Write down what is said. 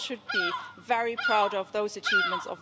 we all should be very proud of those achievements.